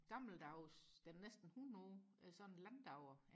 gammeldags den er næsten hundrede år sådan en landauer